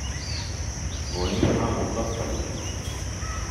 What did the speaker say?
Koimiano amut koskoling'?